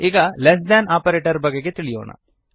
ಈಗ less than operator ಬಗೆಗೆ ತಿಳಿಯೋಣ